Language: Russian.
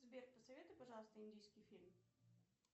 сбер посоветуй пожалуйста индийский фильм